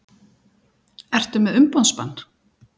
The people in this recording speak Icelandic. Ertu með umboðsmann?